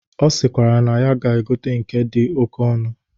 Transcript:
Ọ sịkwara na ya ga-egote nke ndị dị oke ọnụ.